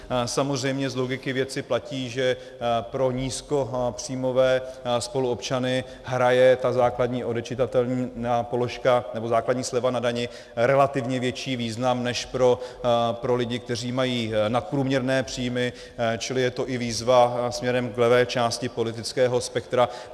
Samozřejmě z logiky věci platí, že pro nízkopříjmové spoluobčany má ta základní odečitatelná položka nebo základní sleva na dani relativně větší význam než pro lidi, kteří mají nadprůměrné příjmy, čili je to i výzva směrem k levé části politického spektra.